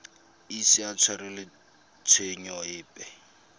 ise a tshwarelwe tshenyo epe